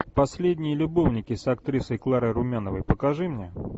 последние любовники с актрисой кларой румяновой покажи мне